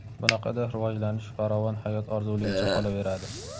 Bunaqada rivojlanish, farovon hayot orzuligicha qolaveradi.